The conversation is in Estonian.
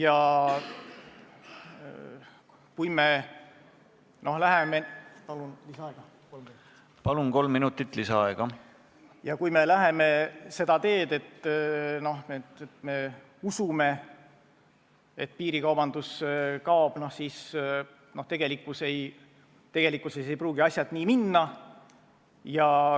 Aga tõepoolest, piirikaubanduse tõrjumine on keeruline optimeerimisülesanne ja kui me läheme seda teed, et lihtsalt usume, et piirikaubandus kaob, siis tegelikkuses ei pruugi asjad nii minna.